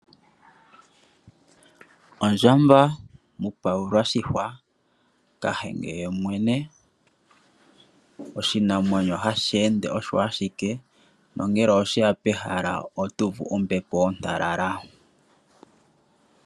Ondjamba mupayula oshihwa ,kahenge yemwene . Oshinamwenyo hashi ende osho ashike nongele osheya pehala oto uvu ombepo ontalala .